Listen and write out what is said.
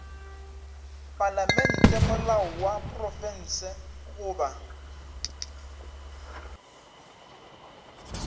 palamente molao wa profense goba